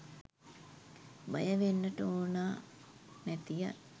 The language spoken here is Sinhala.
බය වෙන්නට ඕනා නැතිය